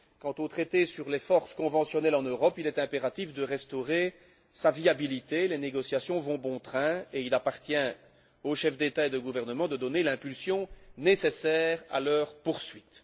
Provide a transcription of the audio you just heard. Quant au traité sur les forces conventionnelles en Europe, il est impératif de restaurer sa viabilité. Les négociations vont bon train et il appartient aux chefs d'État et de gouvernement de donner l'impulsion nécessaire à leur poursuite.